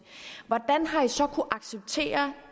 hvordan har man så kunnet acceptere